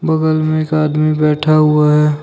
बागल मे एक आदमी बैठा हुआ है।